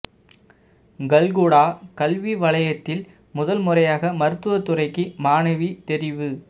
கல்குடா கல்வி வலயத்தில் முதல் முறையாக மருத்துவ துறைக்கு மாணவி தெரிவு